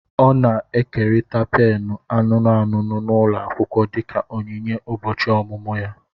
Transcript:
Ọ na-ekerịta pènù anụnụ anụnụ n'ụlọ akwụkwọ dịka onyinye ụbọchị ọmụmụ ya